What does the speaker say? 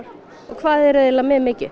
og hvað eru þið eiginlega með mikið